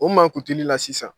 O mankutuli la sisan